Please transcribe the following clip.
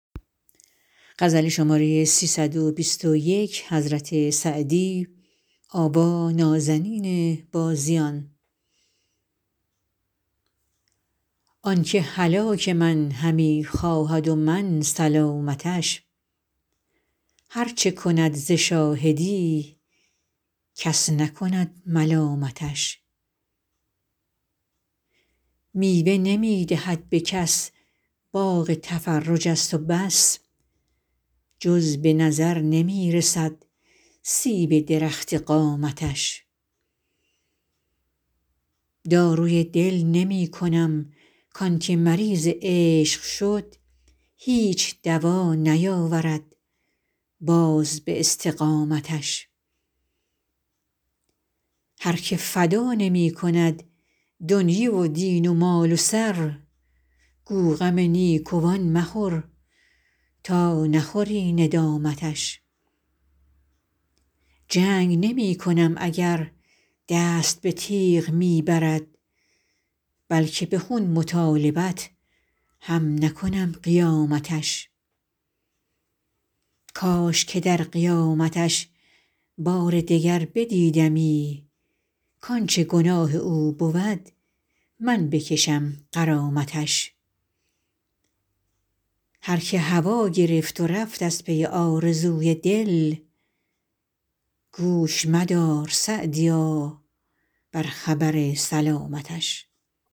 آن که هلاک من همی خواهد و من سلامتش هر چه کند ز شاهدی کس نکند ملامتش میوه نمی دهد به کس باغ تفرج است و بس جز به نظر نمی رسد سیب درخت قامتش داروی دل نمی کنم کان که مریض عشق شد هیچ دوا نیاورد باز به استقامتش هر که فدا نمی کند دنیی و دین و مال و سر گو غم نیکوان مخور تا نخوری ندامتش جنگ نمی کنم اگر دست به تیغ می برد بلکه به خون مطالبت هم نکنم قیامتش کاش که در قیامتش بار دگر بدیدمی کانچه گناه او بود من بکشم غرامتش هر که هوا گرفت و رفت از پی آرزوی دل گوش مدار _سعدیا- بر خبر سلامتش